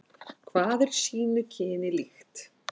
Hvað er sínu kyni líkt.